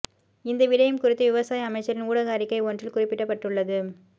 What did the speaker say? இந்த விடயம் குறித்து விவசாய அமைச்சரின் ஊடக அறிக்கை ஒன்றில் குறிப்பிடப்பட்டுள்ளது